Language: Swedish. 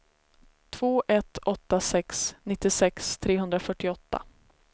två ett åtta sex nittiosex trehundrafyrtioåtta